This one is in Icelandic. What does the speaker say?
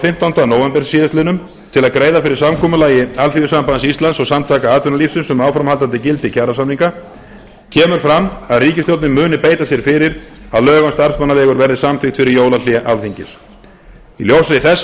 fimmtánda nóvember síðastliðnum til að greiða fyrir samkomulagi alþýðusambands íslands og samtaka atvinnulífsins um áframhaldandi gildi kjarasamninga kemur fram að ríkisstjórnin muni beita sér fyrir að lög um starfsmannaleigur verði samþykkt fyrir jólahlé alþingis í ljósi þess